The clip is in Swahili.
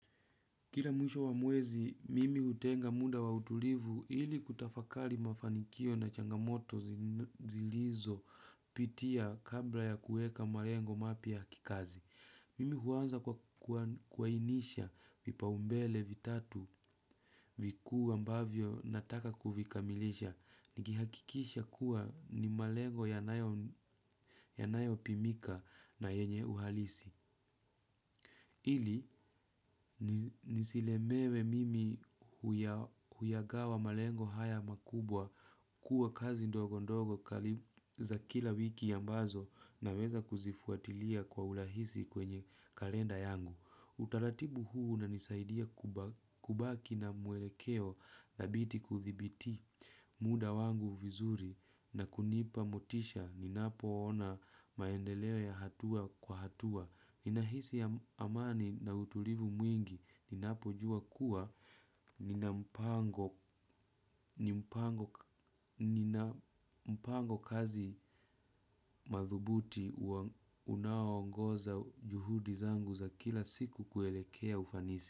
Kila mwisho wa mwezi, mimi hutenga muda wa utulivu ili kutafakali mafanikio na changamoto zilizo pitia kabla ya kuweka malengo mapya kikazi. Mimi huanza kuainisha vipaumbele vitatu vikuu ambavyo nataka kuvikamilisha. Nihakikisha kuwa ni malengo yanayo pimika na yenye uhalisi. Ili, nisielemewe mimi huya gawa malengo haya makubwa kuwa kazi ndogo ndogo kaliza kila wiki ambazo na weza kuzifuatilia kwa urahisi kwenye kalenda yangu. Utaratibu huu unanisaidia kubaki na mwelekeo na thabiti kuthibiti muda wangu vizuri na kunipa motisha ni napo ona maendeleo ya hatua kwa hatua. Ninahisi amani na utulivu mwingi ninapo jua kuwa ninampango kazi madhubuti unaongoza juhudi zangu za kila siku kuelekea ufanisi.